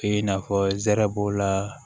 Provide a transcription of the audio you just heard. I n'a fɔ zɛrɛ b'o la